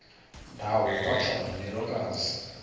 ndawo kwatsho ngomlilokazi